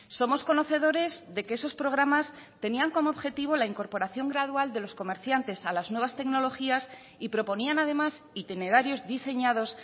somos conocedores de que esos programas tenían como objetivo la incorporación gradual de los comerciantes a las nuevas tecnologías y proponían además itinerarios diseñados